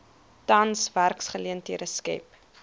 tans werksgeleenthede skep